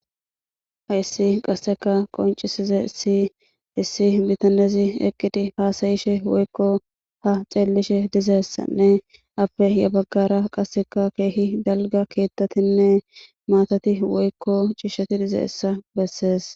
Hayssi qasseka qoncisize issi issi bitanezi eqqidi haasayishe woykko ha xeellishe dizaessanne afe ya baggara qasseka keehi dalga keettatinne maatati woykko ciishshati dizaessa bessees.